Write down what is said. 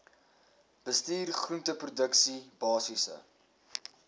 bestuur groenteproduksie basiese